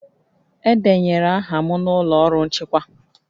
Edenyere aha m n'ụlọ ọrụ nchịkwa